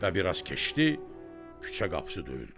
Və biraz keçdi, küçə qapısı döyüldü.